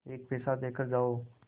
एक पैसा देकर जाओ